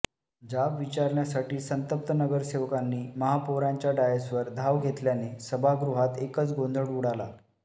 जाब विचारण्यासाठी संतप्त नगरसेवकांनी महापौरांच्या डायसवर धाव घेतल्याने सभागृहात एकच गोंधळ उडाला